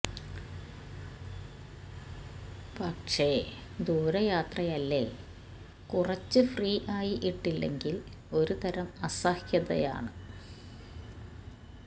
പക്ഷെ ദൂരെ യാത്രയല്ലേ കുറച്ചു ഫ്രീ ആയി ഇട്ടില്ലെങ്കിൽ ഒരു തരം അസഹ്യത ആണ്